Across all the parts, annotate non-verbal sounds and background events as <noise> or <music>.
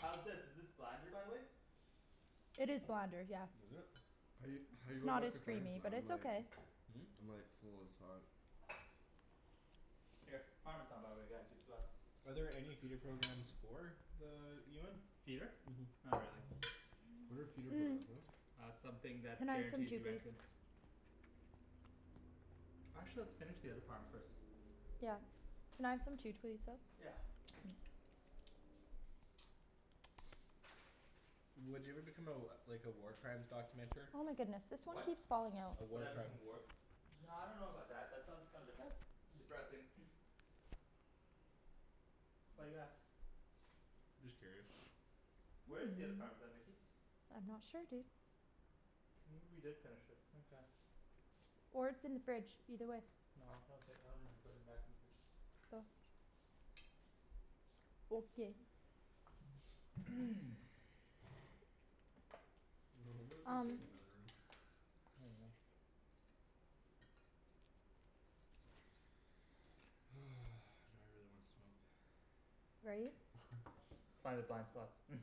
How's this, is this blander by the way? It is blander, yeah. Was it? How you <noise> How you It's going not back as for seconds creamy, man, but I'm it's like okay. I'm like full as fuck. Here. Parmesan by the way guys, you forgot. Are there any feeder programs for the UN? Feeder? Mhm. Not really. What are feeder Mmm. programs, what? Uh something Can that I have some guarantees too, you please? entrance. Actually let's finish the other parm first. Yeah. Can I have some too please, though? Yeah. Would you ever become a like a war crimes documenter? Oh my goodness, this one What? keeps falling out. A Would war I become crime. a work No I dunno about that, that sounds kinda depres- depressing. <noise> Why do you ask? Just curious. Where is the other parmesan Nikki? I'm not sure dude. Maybe we did finish it, okay. Or it's in the fridge, either way. No, no okay, I don't remember putting it back in the fridge. Oh. Okay. <noise> I wonder what they're Um doing in the other room. <laughs> Oh well. <noise> Now I really wanna smoke. Right? <laughs> Let's find the blind spots. <laughs>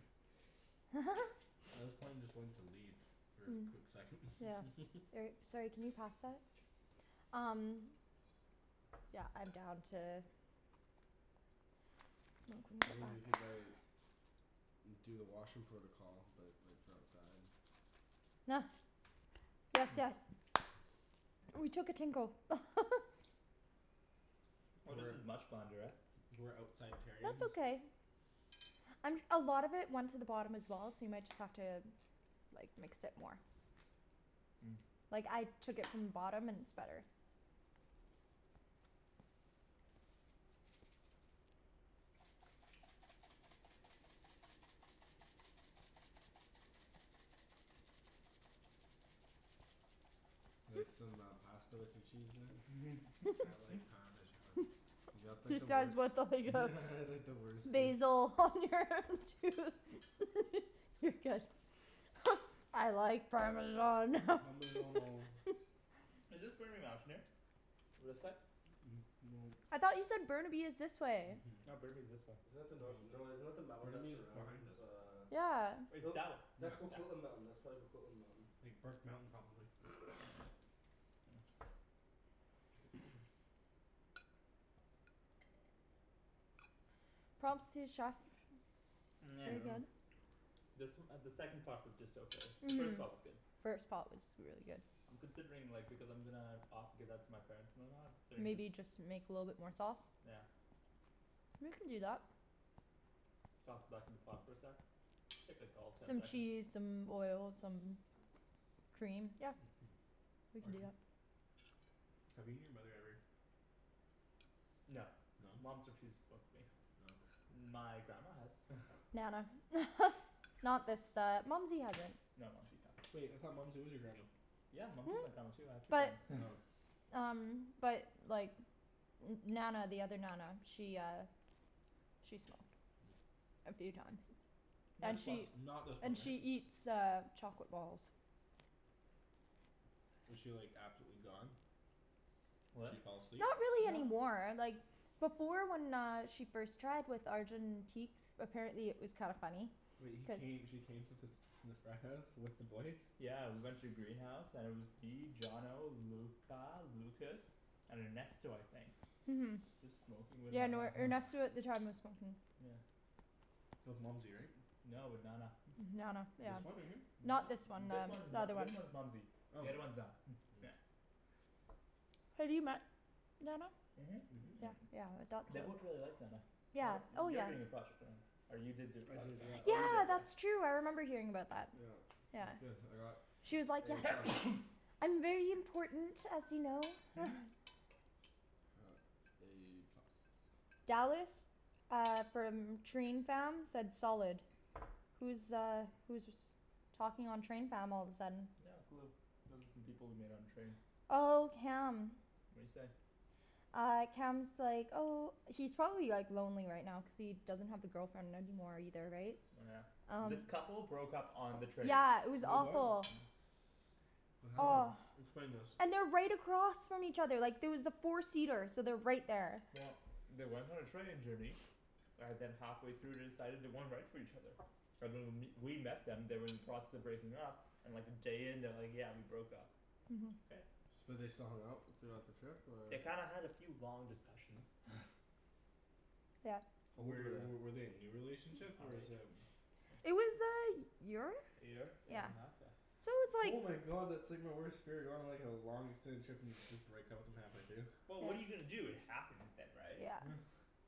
<laughs> Well this plane is going to leave for a Hmm. quick second. Yeah. <laughs> Or, sorry, can you pass that? Um Yeah, I'm down to I mean we could like do the washroom protocol, but like for outside. <laughs> Gracias. Ooh, we took a tinkle. <laughs> Oh this is much blander, eh? We're outside terrions. That's okay. <noise> Um a lot of it went to the bottom as well, so you might just have to like, mix it more. Mm. Like, I took it from the bottom and it's better. Like some uh pasta with your cheese there? I <laughs> like <laughs> parmesan. <laughs> You got like He the wei- says what <inaudible> Yeah like the worst piece. Basil on your tooth. <laughs> You're good. <laughs> I like parmesan. <laughs> Parmeggiano. Is this Burnaby Mountain here? This side? <noise> No. I thought you said Burnaby is this way. Mhm. No, Burnaby's this way. Isn't that the nor- no, isn't that the mountain that Burnaby is behind surrounds us. uh Yeah. It's that w- That's Yeah. Coquitlam Mountain. That's probably Coquitlam Mountain. Big Burke Mountain probably. <noise> <noise> <noise> Props to the chef. Pretty <noise> good. This uh the second pot was just okay. The first pot was good. First pot was really good. I'm considering like, because I'm gonna o- give that to my parents and then uh considering Maybe just you just make a little bit more sauce. Yeah. We can do that. Toss it back in the pot for a sec. Take like all of ten Some seconds. cheese, some oil, some cream, yep. We can do Arjan? that. Have you and your mother ever No. No? Mom's refused to smoke with me. Oh. My grandma has. <laughs> Nana. <laughs> Not this uh, Mumsy hasn't. No Mumsy's awesome. Wait, I thought Mumsy was your grandma? Yeah Mumsy is my <laughs> grandma too. I have two But grandmas. <laughs> um But like N- Nana the other Nana, she uh She smoked. A few times. Nah And just once. she Not this one, And right? she eats uh chocolate balls. Was she like absolutely gone? She What? fall asleep? Not really No. anymore, like before when she uh first tried, with Arjan in teaks, apparently it was kinda funny. Wait, he came, she came to fas- the frat house with the boys? Yeah we went to the greenhouse and it was me, Johnno, Luca, Lucas, and Ernesto I think. Mhm. Just smoking with Yeah no, Nana. Ernesto <laughs> at the time was smoking. Yeah. That was Mumsy, right? No, with Nana. Nana, yeah. This one right here? No. Not this one This then. one's The n- other one. this one's Mumsy. The Oh. other's one Na- <noise> Yeah. Have you met Nana? Mhm. Yeah yeah, I thought They so. both really liked Nana. One Yeah, of, oh you're yeah. doing a project on her. Or you did do a I project did, on her. yeah. Oh you did, Yeah yeah. that's true, I remember hearing about that. Yeah. It was Yeah. good. I got She was like A "Yes!" plus. <noise> "I'm very important, as you know." <laughs> <laughs> <noise> A plus. Dallas. Uh from train fam, said solid. Who's uh who's was talking on train fam all of a sudden? Not a clue. Those are some people we met on the train. Oh, Cam. What'd he say? Uh Cam's like, oh He's probably like lonely right now cuz he doesn't have the girlfriend anymore either, right? Oh yeah. Um This couple broke up on the train. Yeah, it was Wait what? awful. What happened? Oh. Explain this. And they're right across from each other, like there was a four seater, so they're right there. Well they went on a training journey. And then halfway through they decided they weren't right for each other. <noise> And when w- we met them they were in the process of breaking up and like a day in they're like "Yeah, we broke up." Mhm. Okay. So they still hung out throughout the trip or? They kinda had a few long discussions. <laughs> Yep. How old were Were w- they? were they a new relationship or is um It was a y- year? A year, a year and a half? Yeah. So it was Oh like my god, that's like my worst fear, going on like a long extended trip and you just break up with them halfway through. Well what are you gonna do, it happens then right? Yeah. <laughs>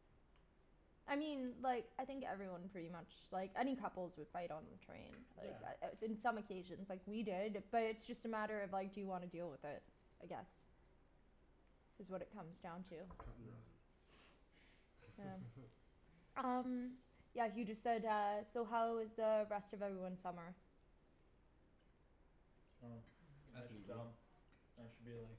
I mean like, I think everyone pretty much, like any couples would fight on the train. Yeah. Uh in some occasions. Like we did, but it's just a matter of, like, do you wanna deal with it. I guess. Is what it comes down to. Cut and Hmm. run. Yeah. <laughs> Um Yeah he just said uh, "So how was uh rest of everyone's summer?" Oh. Ask That's me, boo. dumb. I should be like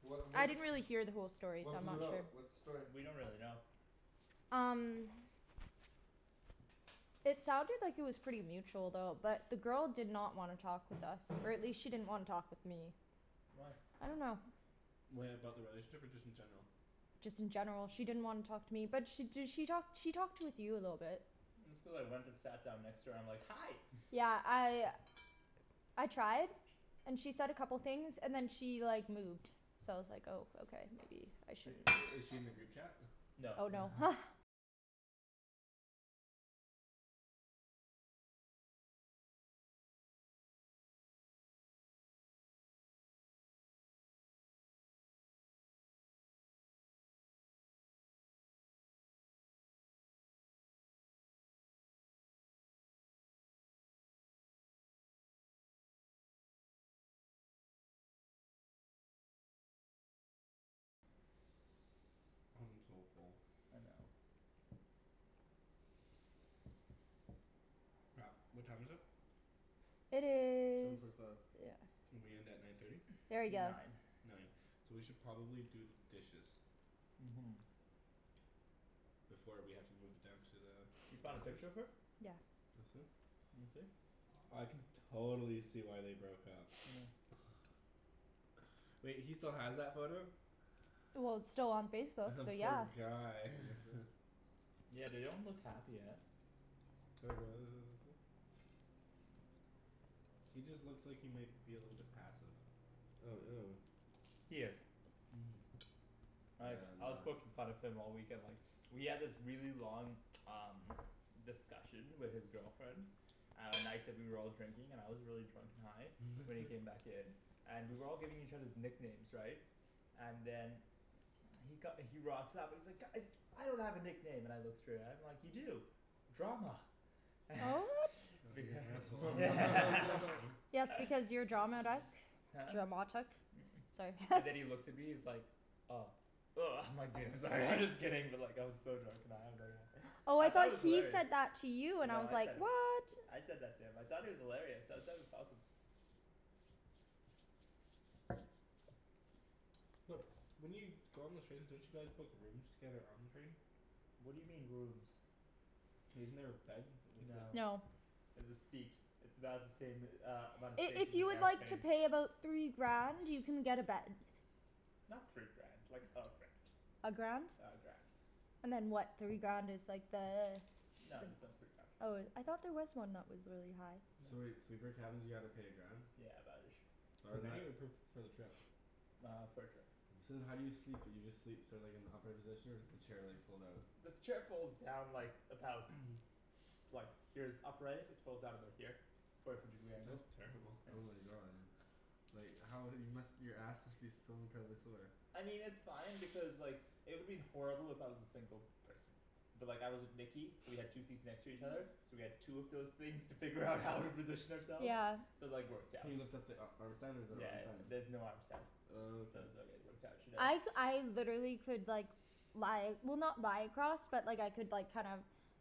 What I what d- didn't really hear the whole story so What I'm blew not it out? sure. What's the story? We don't really know. Um It sounded like it was pretty mutual though. But the girl did not wanna talk with us, or at least she didn't wanna talk with me. Why? I dunno. Wait, about the relationship or just in general? Just in general she didn't wanna talk to me. But she d- she talked she talked with you a little bit. It's cuz I went and sat down next to her, I'm like "Hi." <laughs> Yeah, I I tried. And she said a couple things, and then she like moved. So I was like oh okay, maybe I But shouldn't i- is she in the group chat? <noise> No. Oh no. <laughs> I'm so full. I know. Crap. What time is it? It Seven is forty five. Yeah. We end at nine thirty? Very good. Nine. Nine. So we should probably do the dishes. Mhm. Before we have to move it down to the You found a picture of her? Yeah. That's it? Let me see. I can totally see why they broke up. <noise> <noise> Wait, he still has that photo? Well it's still on <laughs> Facebook, The so poor yeah. guy. <inaudible> <laughs> Yeah they don't look happy, eh? <inaudible> He just looks like he might be a little bit passive. Oh, ew. He is. Mhm. Like, Damn I was man. poking fun of him all weekend, like We had this really long um discussion with his girlfriend at night that we were all drinking, and I was really drunk and high. So when <noise> he came back in and we were all giving each others nicknames, right? And then he co- he rocks up and he's like "Guys!" "I don't have a nickname." And I look straight at him, I'm like, "You do. Drama." <noise> <laughs> Oh you're an asshole. <laughs> <laughs> Yes because you're drama, right? Huh? Dramatic? It's like And then <laughs> he looked at me, he's like, "Oh." Woah I'm like, "Dude I'm sorry, I'm just kidding." But like I was so drunk and high I was like uh Oh I I thought thought it was he hilarious. said that to you, and I No was I like, said it. what? I said that to him. I thought it was hilarious, I thought it was awesome. But, when you go on the trains don't you guys book rooms together on the train? What do you mean rooms? Isn't there a bed? No. No. There's a seat. It's about the same uh amount of I- space if as an you would like to airplane. pay about three grand, you can get a bed. Not three grand. Like a grand. A grand? Yeah, a grand. And then what, three grand is like the No there's no three grand. Oh it, I thought there was one that was really high. So wait, sleeper cabins you gotta pay a grand? Yeah about ish. Oh Per and that night or per, for the trip? Uh for the trip. So then how do you sleep, do you just sleep so like in the upright position? Or does the chair like fold out? The chair folds down like, about <noise> <noise> like, here's upright, it folds out about here. Forty five degree angles. That's terrible. Oh my god. Like how, you must, your ass must be so incredibly sore. I mean it's fine because like, it would have been horrible if I was a single person. But like I was with Nikki, so we had two seats next to each other. So we had two of those things to figure out how to position ourselves. Yeah. So like worked Can out. you lift up the a- arm stand, or is there an Yeah arm stand? there's no arm stand. Oh, So okay. it was like it worked out, I c- <inaudible> I literally could like lie, well not lie across, but like I could like kinda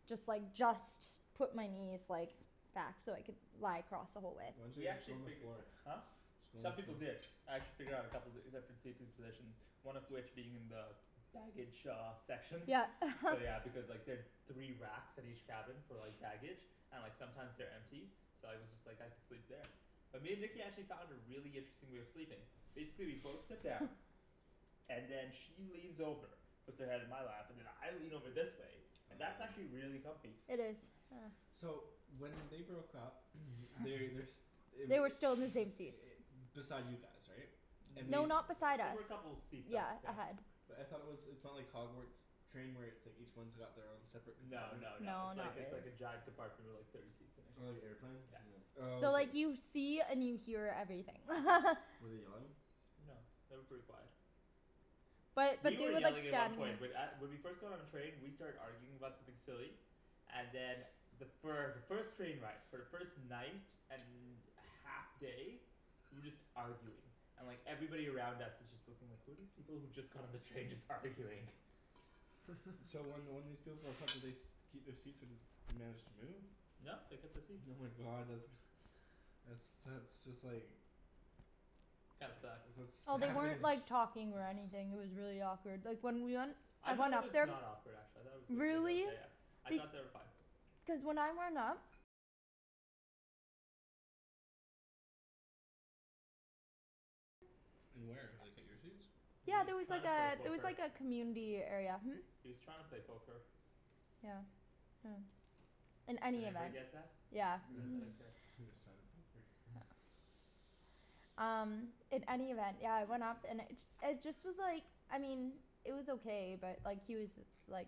just like, just put my knees like back so I could lie across the whole way. Why didn't We you just actually go on the figu- floor? <laughs> Huh? Just go on the Some people floor. did. I had to figure out a couple, different seating positions. One of which being in the baggage shaw sections. Yeah. So yeah <laughs> because like there three racks at each cabin for like baggage and like sometimes they're empty. So I was just like, I could sleep there. But me and Nikki actually found a really interesting way of sleeping. Basically we'd both sit down. And then she leans over. Puts her head in my lap. And then I lean over this way. And that's actually really comfy. It is, yeah. So when they broke up, <noise> they, they're s- They were They were still in the same seats. <noise> beside you guys, right? And they No, s- N- not beside They us. were a couple of seats up, Yeah. yeah. Ahead. But I thought it was, it's not like Hogwarts train where it's like each one's got their own separate No compartment? no no, No, it's like not it's like a really. giant compartment with like thirty seats in it. Oh you airplaned? Yeah. Oh So okay. like you see and you hear everything. <laughs> Were they yelling? No. They were pretty quiet. But, but You were they were like yelling at one standing point, but at- when we first got on the train we started arguing about something silly. And then the fir- the first train ride, for the first night and half day we were just arguing. And like, everybody around us was just looking like, who are these people who just got on the train just arguing? <laughs> So when when these people broke up, did they <noise> st- keep their seats or they managed to move? No they kept the seats. Oh my god, that's that's that's just like That sucks. that's Well, they savage. weren't like talking or anything, it was really awkward. Like when we went I thought it was not <inaudible> awkward actually. I thought it was mid- Really? okay. I Be- thought they were fine. Cuz when I went up In where, like at your seats? He Yeah was there was trying like to a, play there was poker. like a community area, hm? He was trying to play poker. Yeah. Yeah. In Did any everybody event. get that? Yeah. You got that up there. He was trying to poke her. <noise> Um, in any event, yeah it went off, and it ju- it just was like, I mean it was okay but like he was like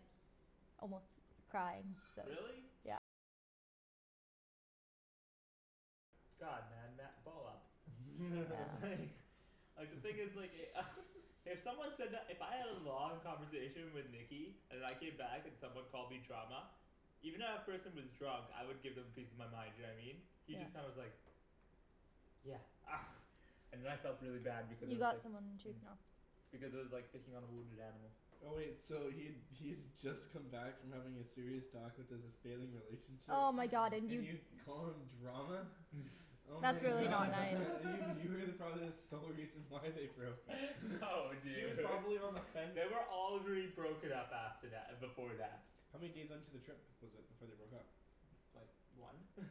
almost crying, so Really? God, man, ma- ball up. <laughs> Like <laughs> Like the thing is like e- <laughs> If someone said that, if I had a long conversation with Nikki and I came back and someone called me drama even if that person was drunk, I would give them a piece of my mind, you know what I mean? He just kinda was like "Yeah." <laughs> And then I felt really bad because I You was got like some on your tooth now. because it was like picking on a wounded animal. Oh wait, so he'd he'd just come back from having a serious talk with his failing relationship, Oh my god <noise> and and you you call him drama? <laughs> <noise> Oh That's my really not god. nice. <laughs> You were probably the sole reason why they broke <laughs> up. <laughs> No She was dude. probably on the fence. They were already broken up after tha- before that. How many days into the trip was it before they broke up? Like one? <laughs>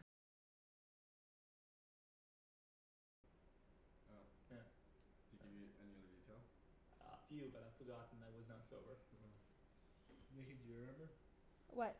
Oh. Yeah. Did he give you any other detail? Uh a few but I forgot and I was not sober. Oh. Nikki, do you remember? What?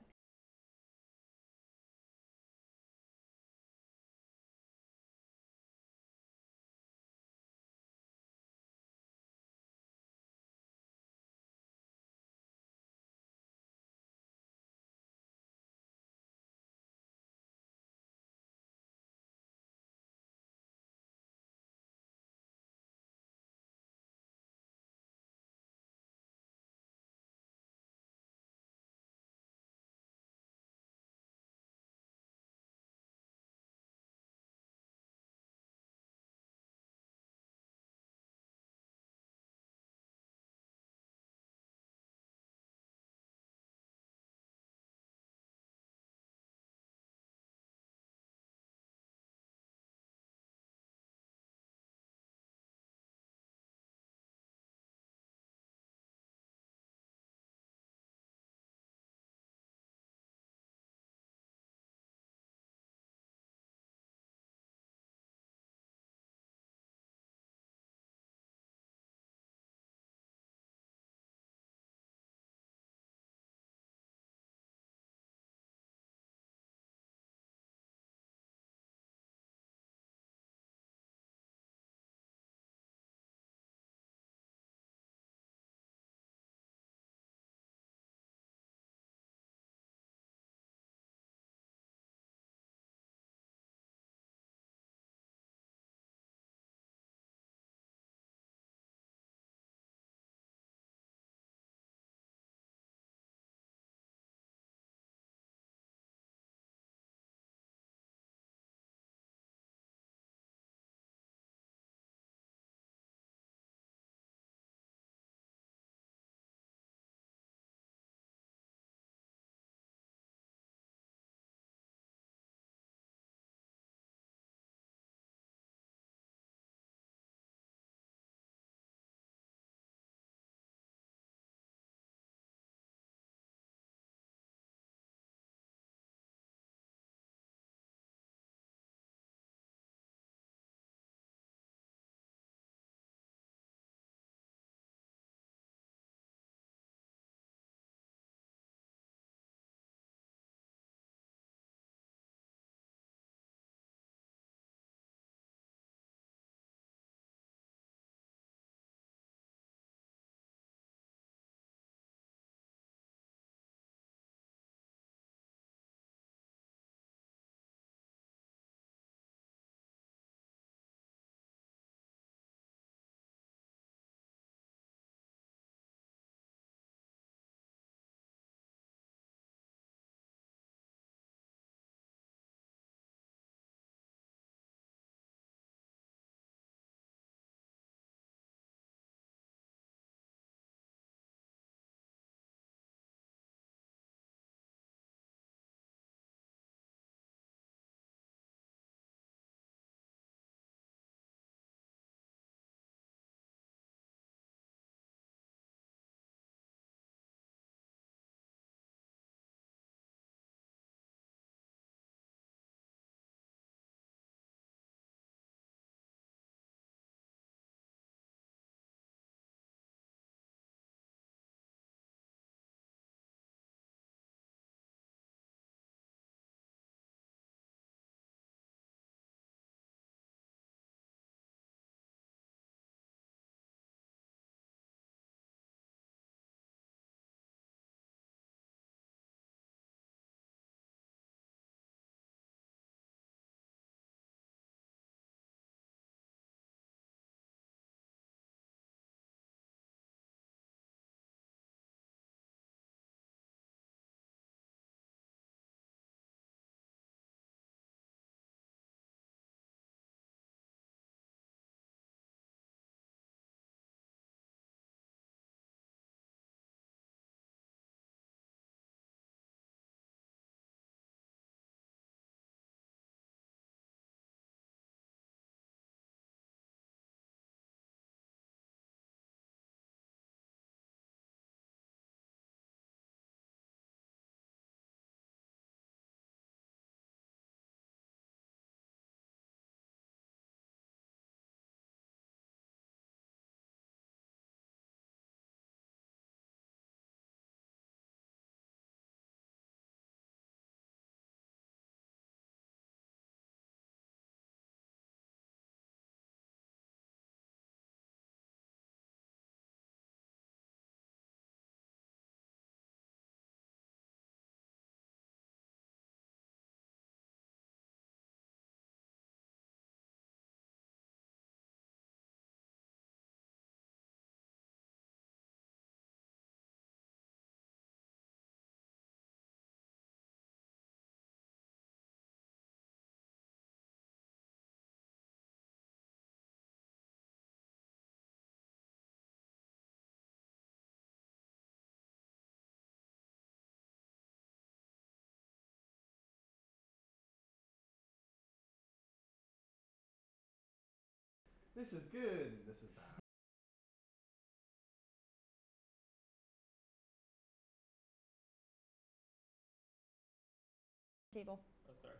Oh sorry.